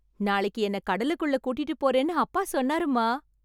நாளைக்கு என்ன கடலுக்குள்ள கூட்டிட்டு போறேன்னு அப்பா சொன்னாருமா.